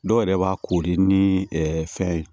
Dɔw yɛrɛ b'a kori ni fɛn ye